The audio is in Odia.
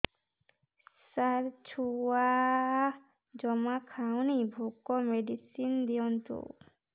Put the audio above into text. ସାର ଛୁଆ ଜମା ଖାଉନି ଭୋକ ମେଡିସିନ ଦିଅନ୍ତୁ